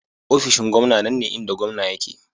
Ofishin gwamna nan ne inda gwamna yake.